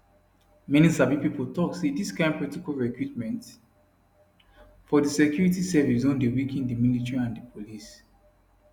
many sabi pipo tok say dis kind protocol recruitment for di security service don dey weaken di military and di police